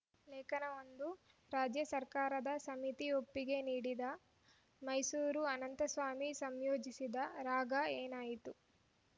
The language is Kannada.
ಲೇಖನ ಒಂದು ರಾಜ್ಯ ಸರ್ಕಾರದ ಸಮಿತಿ ಒಪ್ಪಿಗೆ ನೀಡಿದ್ದ ಮೈಸೂರು ಅನಂತಸ್ವಾಮಿ ಸಂಯೋಜಿಸಿದ ರಾಗ ಏನಾಯಿತು